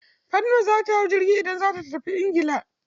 Fatima za ta hau jirgi idan za ta tafi ingila.